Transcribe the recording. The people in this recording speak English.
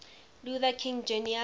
luther king jr